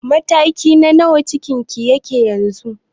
Mataki na nawa cikin ki yake yanzu?